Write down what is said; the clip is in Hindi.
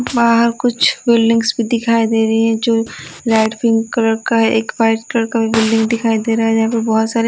बाहर कुछ बिल्डिंग्स भी दिखाई दे रही है जो लाइट पिंक कलर का है एक वाइट कलर का बिल्डिंग दिखाई दे रहा है यहां पर बहुत सारे --